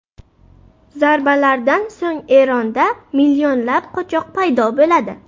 Zarbalardan so‘ng Eronda millionlab qochoq paydo bo‘ladi.